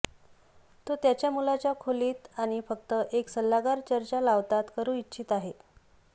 तो त्याच्या मुलाच्या खोलीत आणि फक्त एक सल्लागार चर्चा लावतात करू इच्छित आहे